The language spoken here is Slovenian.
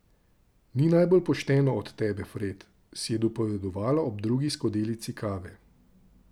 Ni najbolj pošteno od tebe, Fred, si je dopovedovala ob drugi skodelici kave.